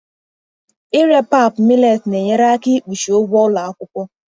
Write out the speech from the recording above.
Ịre pap millet na-enyere aka ikpuchi ụgwọ ụlọ akwụkwọ.